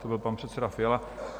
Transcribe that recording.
To byl pan předseda Fiala.